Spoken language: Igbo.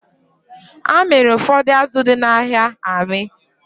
A mịrị ụfọdụ azụ dị n'ahịa amị